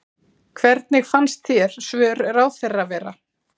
Hvernig fannst þér svör ráðherra vera?